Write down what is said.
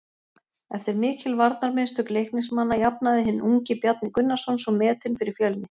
Eftir mikil varnarmistök Leiknismanna jafnaði hinn ungi Bjarni Gunnarsson svo metin fyrir Fjölni.